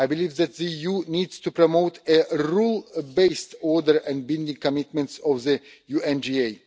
I believe that the EU needs to promote a rule based order and binding commitments of the UNGA.